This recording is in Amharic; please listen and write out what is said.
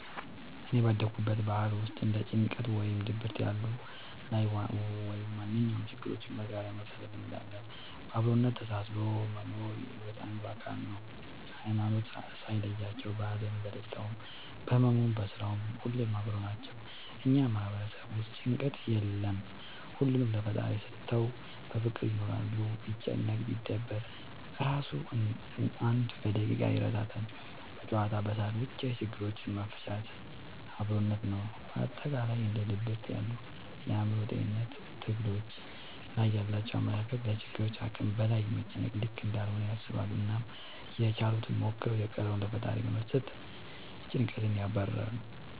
እኔ ባደኩበት ባህል ውስጥ እንደ ጭንቀት ወይም ድብርት ያሉ ላይ ወይም ማንኛውም ችግሮችን በጋራ የመፍታት ልምድ አለ። በአብሮነት ተሳስሮ መኖር የሒወት አንዱ አካል ነው። ሀይማኖት ሳይለያቸው በሀዘኑም በደስታውም በህመሙም በስራውም ሁሌም አብረው ናቸው። እኛ ማህበረሰብ ውስጥ ጭንቀት የለም ሁሉንም ለፈጣሪ ሰተው በፍቅር ይኖራሉ። ቢጨነቅ ቢደበር እራሱ አንድ በደቂቃ ይረሳል በጨዋታ በሳቅ በቻ የችግሮች መፍቻችን አብሮነት ነው። በአጠቃላይ እንደ ድብርት ያሉ የአእምሮ ጤንነት ትግሎች ላይ ያላቸው አመለካከት ለችግሮች ከአቅም በላይ መጨነቅ ልክ እንዳልሆነ ያስባሉ አናም ያችሉትን ሞክረው የቀረውን ለፈጣሪ በመስጠት ጨንቀትን ያባርራሉ።